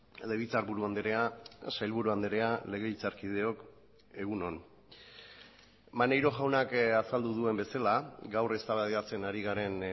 legebiltzarburu andrea sailburua andrea legebiltzarkideok egun on maneiro jaunak azaldu duen bezala gaur eztabaidatzen ari garen